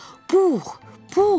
Pux, Pux.